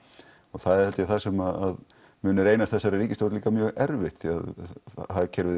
það er held ég það sem mun reynast þessari ríkisstjórn líka mjög erfitt því að hagkerfið